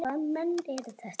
Hvaða menn eru þetta?